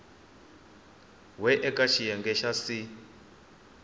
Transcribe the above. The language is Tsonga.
we eka xiyenge xa c